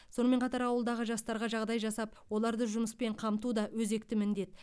сонымен қатар ауылдағы жастарға жағдай жасап оларды жұмыспен қамту да өзекті міндет